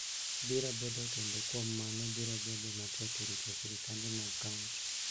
biro bedo kendo kuom mano biro bedo matek e rito sirkande mag kaonti